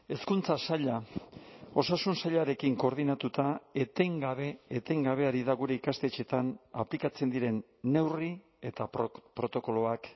hezkuntza saila osasun sailarekin koordinatuta etengabe etengabe ari da gure ikastetxeetan aplikatzen diren neurri eta protokoloak